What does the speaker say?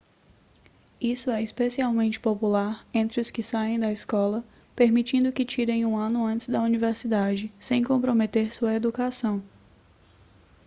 isso é especialmente popular entre os que saem da escola permitindo que tirem um ano antes da universidade sem comprometer sua educação